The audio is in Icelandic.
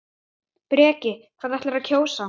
Breki: Hvað ætlarðu að kjósa?